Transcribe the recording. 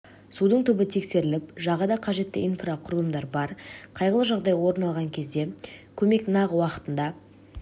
судың түбі тексеріліп жағада қажетті инфрақұрылымдар бар қайғылы жағдай орын алған кезде көмек нақ уақытында